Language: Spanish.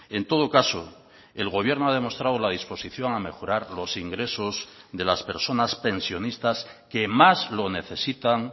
en todo caso el gobierno ha demostrado la disposición a mejorar los ingresos de las personas pensionistas que más lo necesitan